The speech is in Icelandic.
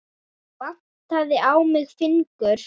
Vantaði á mig fingur?